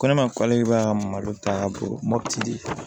Ko ne ma k'ale ka malo ta ka bolo mopti di